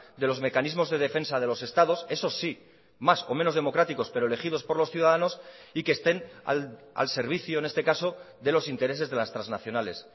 de los mecanismos de defensa de los estados eso sí más o menos democráticos pero elegidos por los ciudadanos y que estén al servicio en este caso de los intereses de las transnacionales